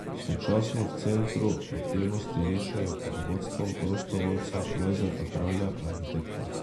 Sočasno v centru aktivnosti rišejo pod vodstvom prostovoljca Lojzeta Kralja, arhitekta.